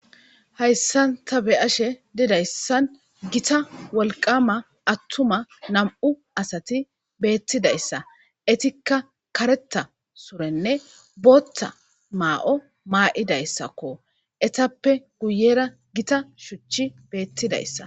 Hayssanta be7ashe dedayssan gita wolqama attuma nam7u asati beettidayssa etikka kareta surenne boothta maa7o maa7idayssakko etappe guyera gita shuchchi beettidayssa.